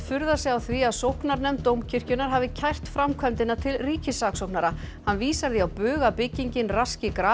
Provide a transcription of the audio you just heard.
furðar sig á því að sóknarnefnd Dómkirkjunnar hafi kært framkvæmdina til ríkissaksóknara hann vísar því að bug að byggingin raski